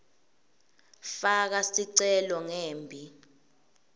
faka sicelo ngembi